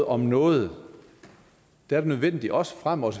om noget nødvendigt også fremover